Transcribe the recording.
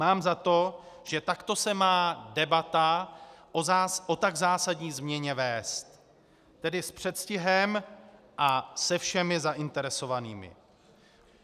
Mám za to, že takto se má debata o tak zásadní změně vést, tedy s předstihem a se všemi zainteresovanými.